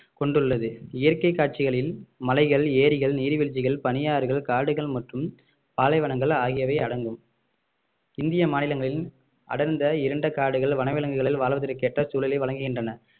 கொண்டுள்ளது இயற்கை காட்சிகளில் மலைகள் ஏரிகள் நீர்வீழ்ச்சிகள் பனியாறுகள் காடுகள் மற்றும் பாலைவனங்கள் ஆகியவை அடங்கும் இந்திய மாநிலங்களின் அடர்ந்த இருண்ட காடுகள் வனவிலங்குகள் வாழ்வதற்கேற்ற சூழலை வழங்குகின்றன